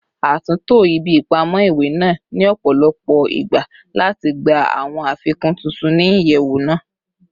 A tunto ibi ipamọ iwe naa ni ọpọlọpọ igba lati gba awọn afikun tuntun ni iyẹwu naa